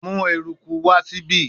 Mu eruku wa si ibi